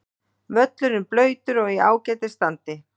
Völlurinn blautur og í ágætis standi.